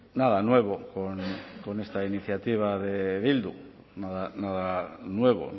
nada nuevo con esta iniciativa de bildu nada nuevo